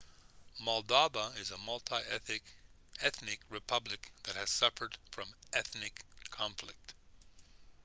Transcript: moldova is a multi-ethnic republic that has suffered from ethnic conflict